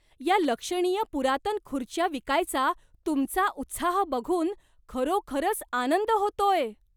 या लक्षणीय पुरातन खुर्च्या विकायचा तुमचा उत्साह बघून खरोखरच आनंद होतोय.